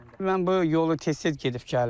Mən bu yolu tez-tez gedib gəlirəm.